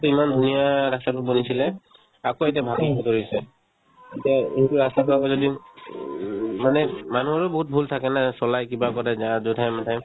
ইমান ধুনীয়া ৰাস্তাতো বনাইছিলে আকৌ এতিয়া ভাঙিব ধৰিছে এতিয়া সেইটো ৰাস্তাতো আকৌ যদি উম মানে মানুহৰো বহুত ভূল থাকে না চলাই কিবা কৰে যা জধাই-মধাই